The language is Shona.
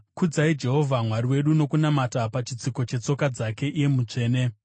Kudzai Jehovha Mwari wedu nokunamata pachitsiko chetsoka dzake; iye mutsvene.